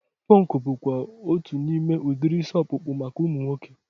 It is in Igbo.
Punk bụkwa otu n'ime udiri isi ọkpụkpụ maka ụmụ nwoke